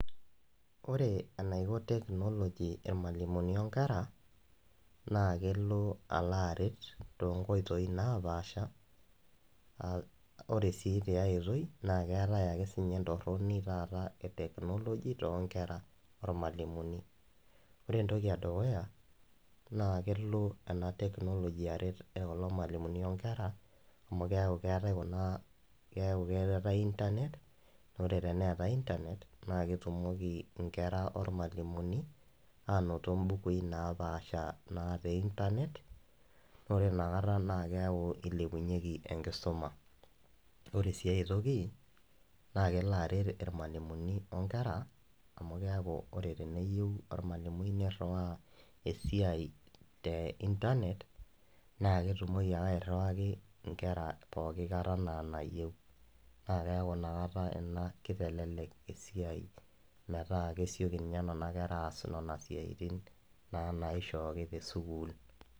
Ore enaiko technology irmalimuni onkera naa kelo alo aret tonkoitoi napaasha uh ore sii tiae oitoi naa keetae ake entorroni taata e technology tonkera ormalimuni ore entoki edukuya naa kelo ena technology aret kulo malimuni onkera amu kiaku keetae kuna keeku keetae internet nore teneetae internet naa ketumoki inkera ormalimuni anoto imbukui napaasha naa te internet ore inakata naa keeku ilepunyieki enkisuma ore sii aetoki naa kelo aret irmalimuni onkera amu keeku ore teneyieu ormalimui nirriwaa esiai te internet naa ketumoki ake airriwaki inkerra poki kata naa nayieu naa keeku inakata ina kitelelek esiai metaa kesioki inye nana kera aas nana siaitin naa naishooki tesukuul.